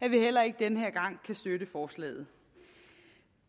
at vi heller ikke denne gang kan støtte forslaget